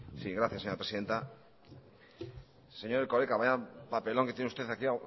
gracias señora presidenta señor erkoreka vaya papelón que tiene usted aquí